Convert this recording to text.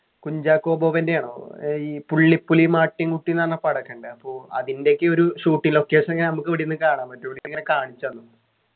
കുഞ്ചാക്കോ ബോബൻ്റെ ആണോ ഏർ ഈ പുള്ളിപ്പുലിയും ആട്ടിൻകുട്ടിയുംന്ന് പറഞ്ഞ പടം ഒക്കെ ഉണ്ട് അപ്പൊ അതിൻ്റെ ഒക്കെ ഒരു shootting location ക്കെ നമുക്ക് ഇവിടെ ഇരുന്നു കാണാം പറ്റും ഓലിങ്ങനെ കാണിച്ചു തന്നു